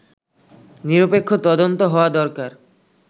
নিরপেক্ষ তদন্ত হওয়া দরকার